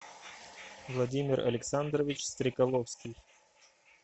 владимир александрович стрекаловский